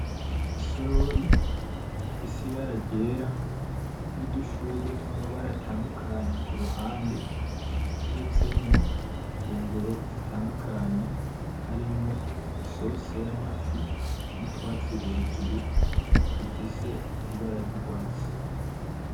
Isorori rifise ibara ryera, nudushurwe twamabara atandukanye kuruhande itetsemwo ifunguro zitandukanye, harimwo isosi yamafi n'Utwatsi hejuru dufise Ibara ry'urwatsi.